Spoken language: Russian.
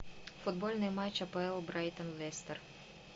футбольный матч апл брайтон лестер